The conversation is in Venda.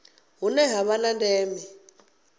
hune ha vha na ndeme